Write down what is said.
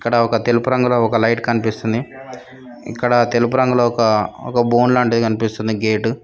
అక్కడ ఒక తెలుపు రంగులో ఒక లైట్ కనిపిస్తుంది ఇక్కడ తెలుపు రంగులో ఒక బోన్ లాంటిది కనిపిస్తుంది గేటు.